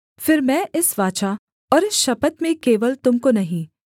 फिर मैं इस वाचा और इस शपथ में केवल तुम को नहीं